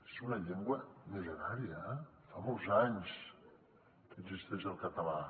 és una llengua mil·lenària eh fa molts anys que existeix el català